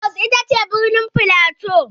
Jos ita ce birnin flato.